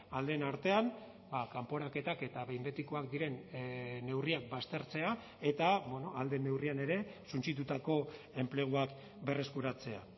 aldeen artean kanporaketak eta behin betikoak diren neurriak baztertzea eta ahal den neurrian ere suntsitutako enpleguak berreskuratzea